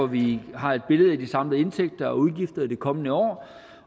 vi har et billede af de samlede indtægter og udgifter i det kommende år